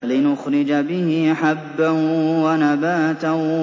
لِّنُخْرِجَ بِهِ حَبًّا وَنَبَاتًا